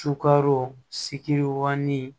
Sukaro siki